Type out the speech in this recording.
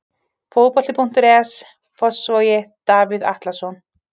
Fótbolti.net, Fossvogi- Davíð Atlason.